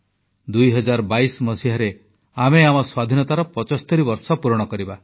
ଦୁଇ ହଜାର ବାଇଶ ମସିହା 2022ରେ ଆମେ ଆମ ସ୍ୱାଧୀନତାର 75 ବର୍ଷ ପୂରଣ କରିବା